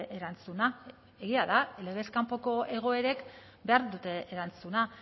erantzuna egia da legez kanpoko egoerek behar dute erantzuna